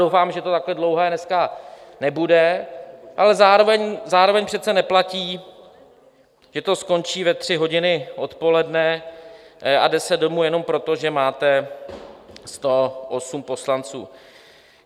Doufám, že to takhle dlouhé dneska nebude, ale zároveň přece neplatí, že to skončí ve tři hodiny odpoledne a jde se domů jenom proto, že máte 108 poslanců.